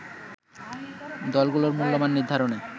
দলগুলোর মূল্যমান নির্ধারণে